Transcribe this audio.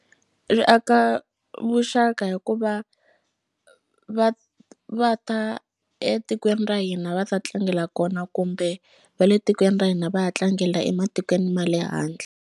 Ri aka vuxaka hikuva va va ta etikweni ra hina va ta tlangela kona kumbe va le tikweni ra hina va ya tlangela ematikweni ma le handle.